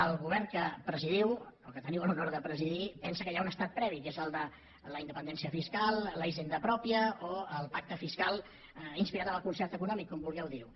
el govern que presidiu o que teniu l’honor de presidir pensa que hi ha un estat previ que és el de la independència fiscal la hisenda pròpia o el pacte fiscal inspirat en el concert econòmic com vulgueu dir ne